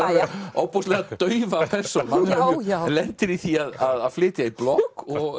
ofboðslega daufa persónu hann lendir í því að flytja í blokk og